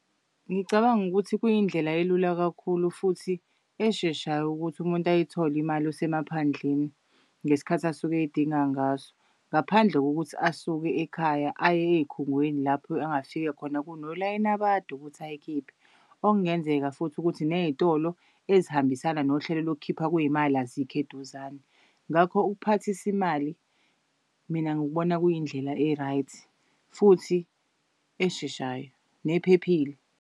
Ngicabanga ukuthi kuyindlela elula kakhulu futhi esheshayo ukuthi umuntu ayithole imali osemaphandleni ngesikhathi asuke eyidinga ngaso. Ngaphandle kokuthi asuke ekhaya aye ey'khungweni lapho angafike khona kunolayini abade ukuthi ayikhiphe. Okungenzeka futhi ukuthi neyitolo ezihambisana nohlelo lokukhipha kwey'mali azikho eduzane. Ngakho ukuphathisa imali mina ngikubona kuyindlela e-right futhi esheshayo nephephile.